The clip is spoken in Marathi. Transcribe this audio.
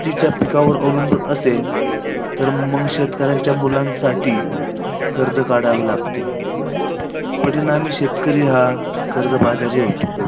तीच्या पिकांवर अवलंबून असेल, तर मंग शेतकऱ्यांच्या मुलांसाठी कर्ज काढवे लागते. परिणामी शेतकरी हा कर्जबाजारी होतो.